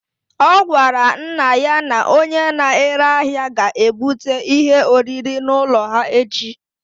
Ọ gwara nna ya na onye na-ere ahịa ga-ebute ihe oriri n'ụlọ ha echi